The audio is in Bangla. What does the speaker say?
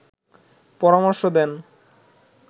পরামার্শ দেন